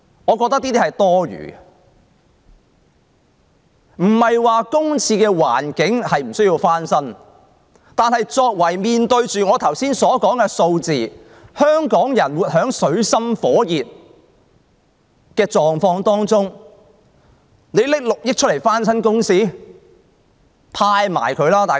我不是說公廁不用翻新，但面對我剛才所述的數字，香港人活在水深火熱中，政府竟然撥款6億元翻新公廁？